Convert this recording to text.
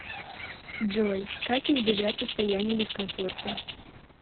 джой как избежать состояния дискомфорта